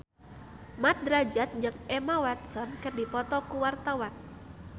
Mat Drajat jeung Emma Watson keur dipoto ku wartawan